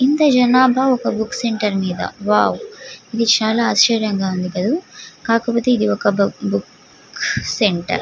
ఇంత జనాబా ఒక బుక్ సెంటర్ మేధా వావ్ ఇది చాల ఆచర్యంగా కూడా వుంటది. కాకపోతే ఇది ఒక బుక్ సెంటర్ .